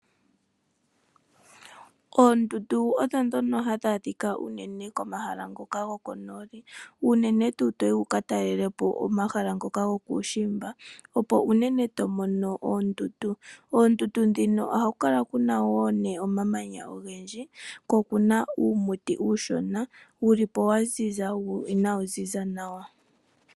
Oondundu odhodhono hadhi adhikwa uunene komahala ngoka goko nooli uunene toyi wukatalelepo omahala ngoka ngokushimba opo unene tomono oondundu, oondundu dhino oha kukala Kuna woo ne omamanya ogendji oko okuna omuti uushona wulipo waziza wo inawiziza nawa.